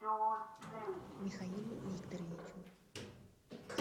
михаилу викторовичу